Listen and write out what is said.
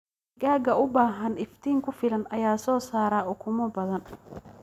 Digaagga u baahan iftiin ku filan ayaa soo saara ukumo badan.